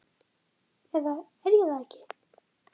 eða er ég það ekki?